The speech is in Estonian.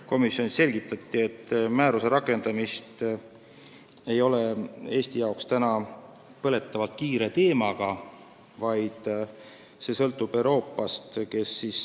Komisjonis selgitati, et määruse rakendamine ei ole Eesti jaoks põletav teema – see kiirus sõltub Euroopast.